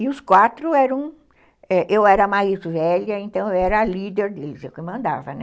E os quatro eram, eu era a mais velha, então eu era a líder deles, eu que mandava, né?